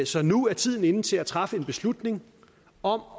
så nu er tiden inde til at træffe en beslutning om